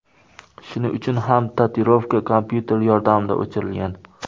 Shuning uchun ham tatuirovka kompyuter yordamida o‘chirilgan.